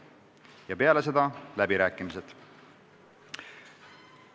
Ja peale seda on läbirääkimised.